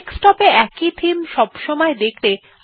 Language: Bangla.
ডেস্কটপ এ একই থেমে সবসময় দেখতে অন করা যাক